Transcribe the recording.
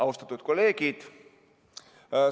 Austatud kolleegid!